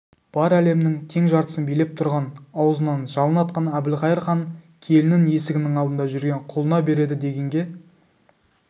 бар әлемнің тең жартысын билеп тұрған аузынан жалын атқан әбілқайыр хан келінін есігінің алдында жүрген құлына береді дегенге